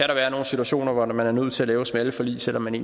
der være nogle situationer hvor man er nødt til at lave smalle forlig selv om man